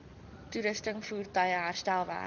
toerusting voertuie herstelwerk